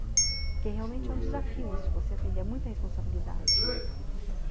Porque realmente é um desafio isso, você atender a muita responsabilidade.